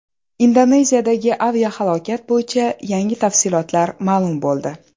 Indoneziyadagi aviahalokat bo‘yicha yangi tafsilotlar ma’lum bo‘ldi.